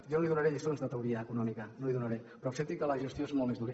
jo no li donaré lliçons de teoria econòmica no li’n donaré però accepti que la gestió és molt més dura